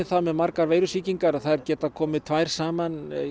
það með margar veirusýkingar að þær geta komið tvær saman